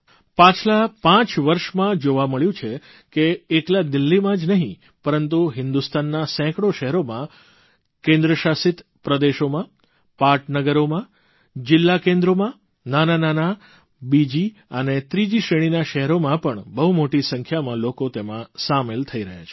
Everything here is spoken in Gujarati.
પાછલા પાંચ વર્ષમાં જોવા મળ્યું છે કે એકલા દિલ્હીમાં જ નહિં પરંતુ હિંદુસ્તાનના સેંકડો શહેરોમાં કેન્દ્રશાસિત પ્રદેશોમાં પાટનગરોમાં જીલ્લા કેન્દ્રોમાં નાનાં નાનાં બીજી અને ત્રીજી શ્રેણીના શહેરોમાં પણ બહુ મોટી સંખ્યામાં લોકો તેમાં સામેલ થઇ રહ્યા છે